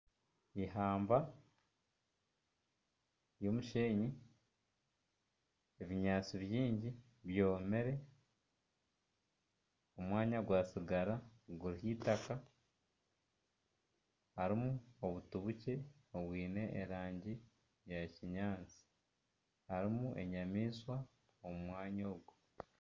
Ihamba ry'omushenyi ebinyaatsi bingi bwomire omwanya gwasigara guriho itaka harimu obuti bukye obwine erangi ya kinyaatsi harimu Enyamaishwa omu mwanya ogu.